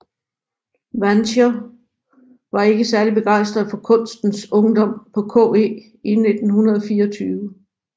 Wanscher var ikke særlig begejstret for kunstens ungdom på KE i 1924